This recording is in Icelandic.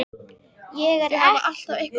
Ég er ekkert að setja út á þig fyrir þetta.